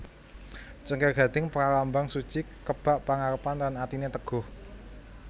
Cengkir gading pralambang suci kebak pangarepan lan atiné teguh